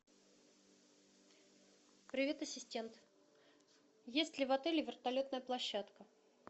привет ассистент есть ли в отеле вертолетная площадка